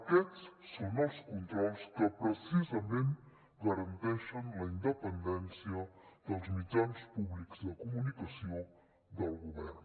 aquests són els controls que precisament garanteixen la independència dels mitjans públics de comunicació del govern